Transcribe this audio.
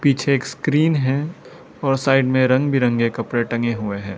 पीछे एक स्क्रीन है और साइड में रंग बिरंगे कपड़े टंगे हुए हैं।